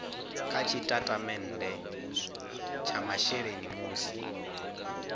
kha tshitatamennde tsha masheleni musi